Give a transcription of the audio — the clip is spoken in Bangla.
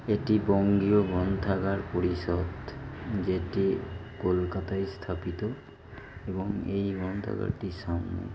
এটি বঙ্গীয় গ্রন্থাগার পরিষদ যেটি কলকাতায় স্থাপিত এবং এই গ্রন্থাগারটির সামনে--